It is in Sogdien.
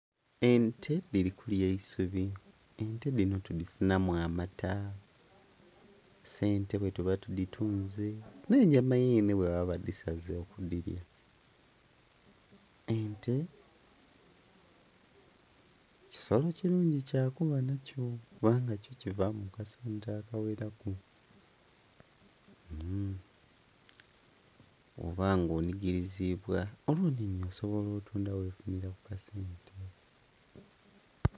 Ente dhiri kulya eisubi, ente dhino tudhifunamu amata, sente bwetuba tuditunze n'enyama yeene bwebaba badisaze okudhilya. Ente kisolo kirungi kyakuba nakyo kubanga kyo kibaamu akasente akaweraku. Bwoba nga onigirizibwa olwo nhinhi osobola otunda wefunira ku kasente.